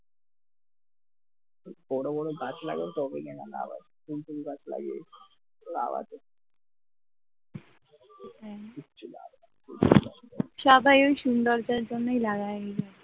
সবাই ওই সুন্দর তার জন্যই লাগাই ওইগুলো